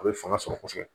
A bɛ fanga sɔrɔ kosɛbɛ